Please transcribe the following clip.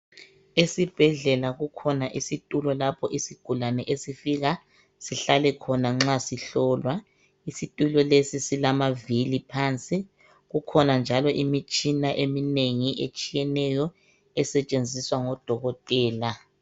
Esibhedlela kukhona isitulo lapho isigulane esifika sihlale khona nxa sihlolwa. Isitulo lesi silamavili phansi. Kukhona njalo imitshina etshiyeneyo esetshenziswa ngodokotela.